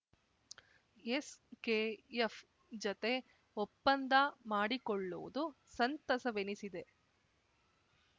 SKF ಜತೆ ಒಪ್ಪಂದ ಮಾಡಿಕೊಳ್ಳುವುದು ಸಂತಸವೆನಿಸಿದೆ